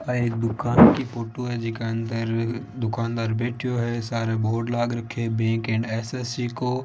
एक दुकान की फोटो है जिसके अंदर दुकानदार बैठे हैं सारे बोर्ड लगा रखे हैं बी एंड एस_सी को--